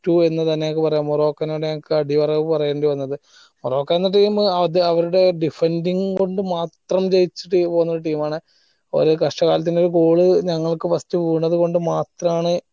to എന്ന് തന്നെ നമ്മക്ക് പറയാം മൊറോക്കനോട് നമ്മക്ക് അടിയറവ് പറയേണ്ടി വന്നത് മൊറോക്ക എന്ന team അത് അവരുടെ diffending കൊണ്ട് മാത്രം ജയിച്ച team പോലെ പോലൊരു team ആണ് ഒരു കഷ്ടകാലത്തിന് ഒരു goal ഞങ്ങൾക്ക് വീണതു കൊണ്ട് മാത്രമാണ്